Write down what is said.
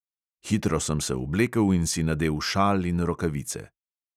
Hitro sem se oblekel in si nadel šal in rokavice.